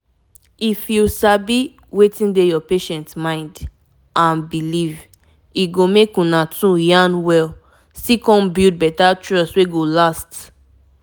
if you sabi wetin dey your patient mind and belief e go make una 2 yarn well still come build better trust wey go last.